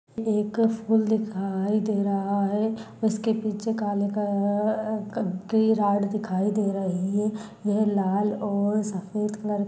एक फूल दिखाई दे रहा है उसके पीछे काले का-अ कब्बे राड दिखाई दे रही है यह लाल और सफ़ेद कलर की--